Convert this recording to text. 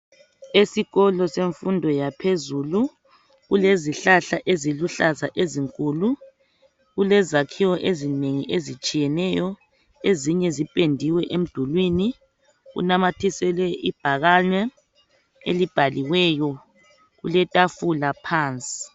Esikolo senfundo yaphezulu kulezihlahla eziluhlaza ezinkulu. Kulezakhiwo ezinengi ezitshiyeneyo, ezinye ziphendiwe emdulwini. kunamathiselwe ibhakane elibhaliweyo. Kulethafula phansi.